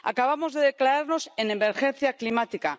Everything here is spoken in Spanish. Acabamos de declararnos en emergencia climática.